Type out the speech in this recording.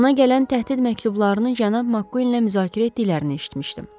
Ona gələn təhdid məktublarını cənab Makkuinlə müzakirə etdiklərini eşitmişdim.